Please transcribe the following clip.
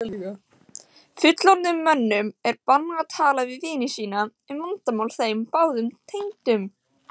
Fullorðnum mönnum er bannað að tala við vini sína um vandamál þeim báðum tengdum?